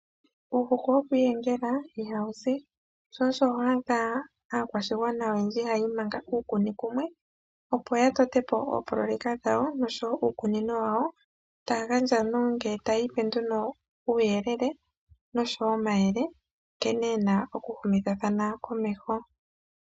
Uuhuku wokwiiyengela ihawu zi sho osho ho adha aakwashigwana oyendji haya imanga uukuni kumwe opo ya totepo ooproyeka dhawo noshowo uukunino wawo taya gandja nenge tayiipe nduno uuyelele noshowo omayele nkene yena oku humithithathana momeho.